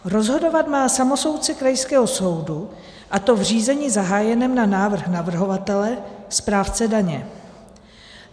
Rozhodovat má samosoudce krajského soudu, a to v řízení zahájeném na návrh navrhovatele, správce daně.